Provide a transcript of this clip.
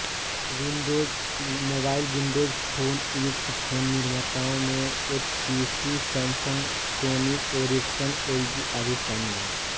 Windows mobile Windows phone युक्त phone निर्माताओं में HTC Samsung Sony Ericsson LG आदि शामिल हैं